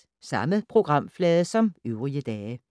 Samme programflade som øvrige dage